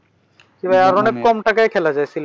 জি ভাইয়া আর অনেক কম টাকায় খেলা যায় সিলেট গেলে।